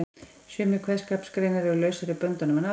Sumar kveðskapargreinar eru lausari í böndunum en aðrar.